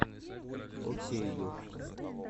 окейюш